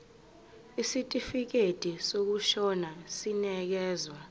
isitifikedi sokushona sinikezwa